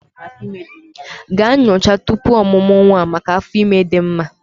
Gaa nyocha tupu ọmụmụ nwa maka afọ ime dị mma